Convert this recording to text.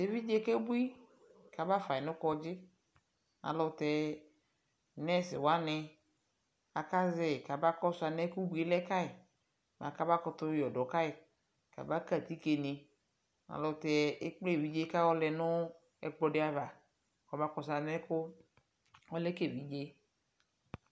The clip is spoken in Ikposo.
tʋ ɛvidzɛ kɛ bʋi kʋ abaƒai nʋ kɔdzi, alʋtɛ nurse wani aka zɛi kama kɔsʋ anɛ ʋbʋi lɛ kayi, bʋakʋ abakʋtʋ yɔdɔ kayi kʋ aba kai atikè ni, alʋtɛ ɛkplɛ ɛvidzɛ kʋ ayɔ lɛnʋ ɛkplɔ di aɣa kʋ ɔma kɔsʋ alɛkʋ ɔlɛ ka ɛvidzɛ.